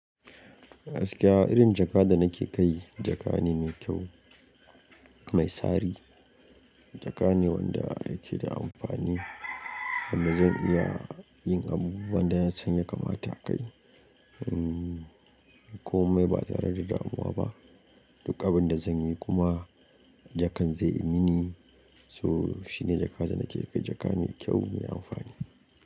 Gaskiya irin jaka da nake kai jaka ne mai kyau, mai tsari. Jaka ne wanda yake da amfani, wanda zan iya yin abubuwan da na san yakamata a kai. Komai ba tare da damuwa ba. Duk abin da zan yi kuma jakan zai yi mini. So shi ne jaka da nake kai jaka mai kyau, mai amfani.